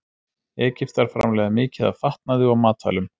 Egyptar framleiða mikið af fatnaði og matvælum.